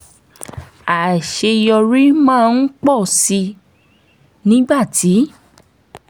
àṣeyọrí máa ń pọ̀ sí i nígbà tí